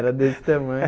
Era desse tamanho.